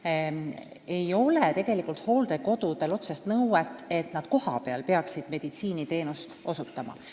Hooldekodudel ei ole tegelikult otsest nõuet, et nad peaksid kohapeal meditsiiniteenust osutama.